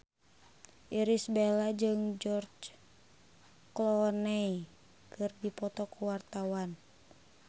Irish Bella jeung George Clooney keur dipoto ku wartawan